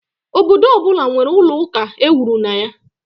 Obodo ọ bụla nwere ụlọ ụka ewuru na ya.